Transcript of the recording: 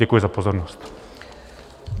Děkuji za pozornost.